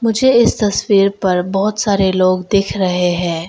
मुझे इस तस्वीर पर बहुत सारे लोग दिख रहे हैं।